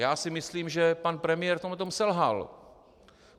Já si myslím, že pan premiér v tomto selhal.